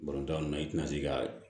na i tɛna se ka